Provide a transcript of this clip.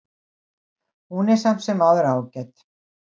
Hún er samt sem áður ágæt.